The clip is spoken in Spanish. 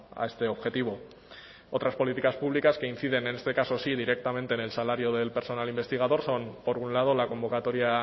a este objetivo otras políticas públicas que inciden en este caso sí directamente en el salario del personal investigador son por un lado la convocatoria